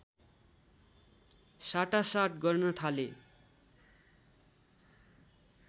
साटासाट गर्न थाले